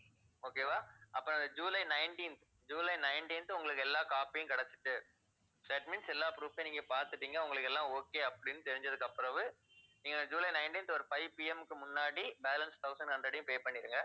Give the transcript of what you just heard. okay வா? அப்ப July nineteenth July nineteenth உங்களுக்கு எல்லா copy யும் கிடைச்சுட்டு that means எல்லா proof அயும் நீங்கப் பார்த்துட்டீங்க. உங்களுக்கு எல்லாம் okay அப்படின்னு தெரிஞ்சதுக்கு பிறகு நீங்க ஜூலை nineteenth ஒரு fivePM க்கு முன்னாடி balance thousand hundred அயும் pay பண்ணிடுங்க.